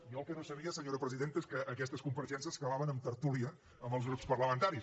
jo el que no sabia senyora presidenta és que aquestes compareixences acabaven en tertúlia amb els grups parlamentaris